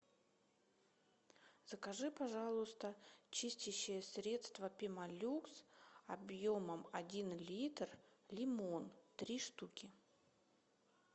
закажи пожалуйста чистящее средство пемолюкс объемом один литр лимон три штуки